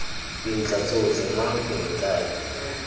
dintlha tsotlhe mang eng kae